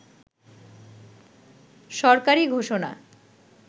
সরকারি ঘোষণা